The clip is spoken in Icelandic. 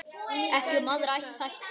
Ekki um aðra þætti.